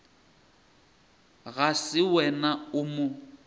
ga se wena o mo